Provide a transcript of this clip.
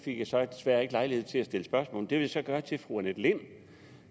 fik jeg så desværre ikke lejlighed til at stille spørgsmål det vil jeg så gøre til fru annette lind